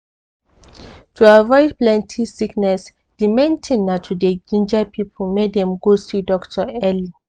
to avoid plenty sickness di main thing na to dey ginger people make dem go see doctor early